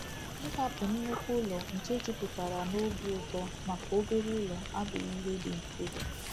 *“Ịhapụ nnukwu ụlọ nke jupụtara n’obi ụtọ maka obere ụlọ abụghị ihe dị mfe.